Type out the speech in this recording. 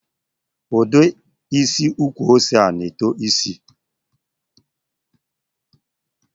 Ụdị isi ukwu ose a na-eto isi?